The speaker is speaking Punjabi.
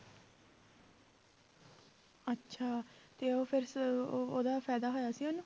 ਅੱਛਾ ਤੇ ਉਹ ਫਿਰ ਸ~ ਉਹ ਉਹਦਾ ਫ਼ਾਇਦਾ ਹੋਇਆ ਸੀ ਉਹਨੂੰ